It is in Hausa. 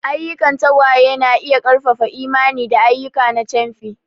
Ayyukan tagwaye na iya ƙarfafa imani da ayyuka na camfi.